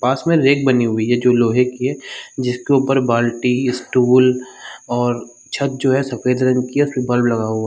पास में रैक बनी हुई है जो लोहे की है जिसके ऊपर बाल्टी स्टूल और छत जो है सफ़ेद रंग की है उस पे लगा हुआ।